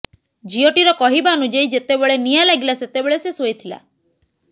ଝିଅଟିର କହିବା ଅନୁଯାୟୀ ଯେତେବେଳେ ନିଆଁ ଲାଗିଲା ସେତେବେଳେ ସେ ଶୋଇଥିଲା